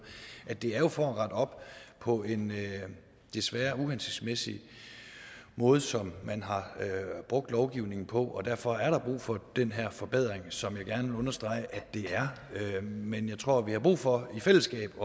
at det jo er for at rette op på en desværre uhensigtsmæssig måde som man har brugt lovgivningen på og derfor er der brug for den her forbedring som jeg gerne vil understrege at det er men jeg tror at vi har brug for i fællesskab at